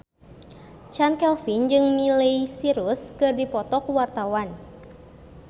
Chand Kelvin jeung Miley Cyrus keur dipoto ku wartawan